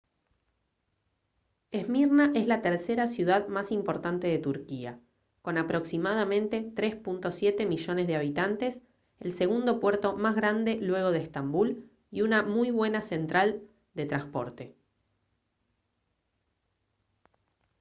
esmirna es la tercera ciudad más importante de turquía con aproximadamente 3.7 millones de habitantes el segundo puerto más grande luego de estambul y una muy buena central de transporte